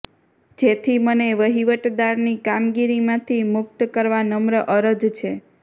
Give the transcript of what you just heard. જેથી મને વહીવટદારની કામગીરીમાંથી મુક્ત કરવા નમ્ર અરજ છે